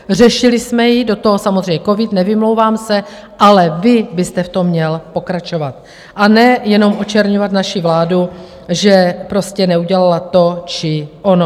Řešili jsme ji, do toho samozřejmě covid, nevymlouvám se, ale vy byste v tom měl pokračovat, a ne jenom očerňovat naši vládu, že prostě neudělala to či ono.